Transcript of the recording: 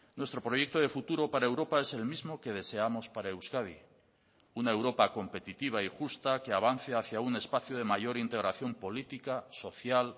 nuestro proyecto de futuro para europa es el mismo que deseamos para euskadi una europa competitiva y justa que avance hacia un espacio de mayor integración política social